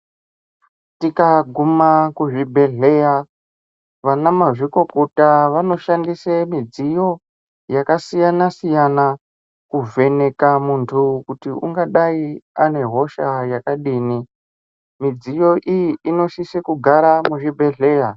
Tikaguma kuzvibhedhleya ana mazvikokota vanoshandisa midziyo yakasiyana siyana kuvheneka muntu kuti ungadayi ane hosha yakadini midziyo iyi inosisa kugara muzvibhedhlera.